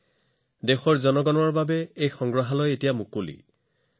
ইয়াক দেশৰ নাগৰিকসকলৰ বাবে মুকলি কৰা হৈছে